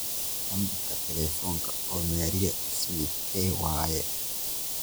nambarka telephonka oo maria smith kee waayey